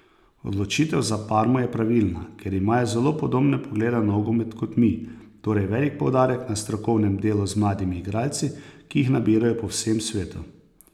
Odločitev za Parmo je pravilna, ker imajo zelo podobne poglede na nogomet kot mi, torej velik poudarek na strokovnem delu z mladimi igralci, ki jih nabirajo po vsem svetu.